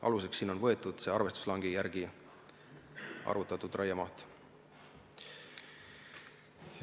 Aluseks on võetud arvestuslangi järgi arvutatud raiemaht.